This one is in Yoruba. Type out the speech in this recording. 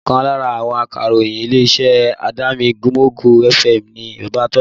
Ọkàn lára àwọn akàròyìn ilé-iṣẹ́ Adamimogo FM ni Baba Tola